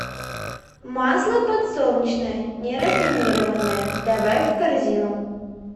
масло подсолнечное нерафинированное добавь в корзину